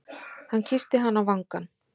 Hann kyssti hana á vangann.